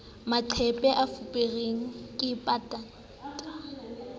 maqephe a fuperweng ke patanta